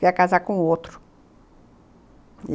Para casar com outro.